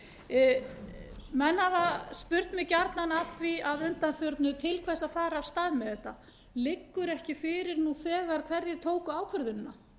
hafa spurt mig gjarnan að því að undanförnu til hvers að fara af stað með þetta liggur ekki fyrir nú þegar hverjir tóku ákvörðunina